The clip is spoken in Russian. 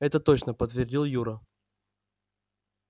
это точно подтвердил юра